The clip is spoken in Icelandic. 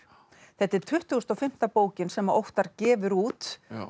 þetta er tuttugasta og fimmta bókin sem Óttar gefur út